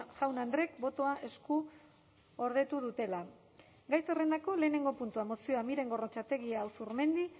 jaun andreek botoa eskuordetu dutela gai zerrendako lehenengo puntua mozioa miren gorrotxategi azurmendi